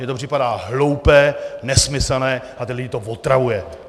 Mně to připadá hloupé, nesmyslné a ty lidi to otravuje!